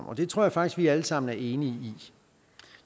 og det tror jeg faktisk vi alle sammen er enige i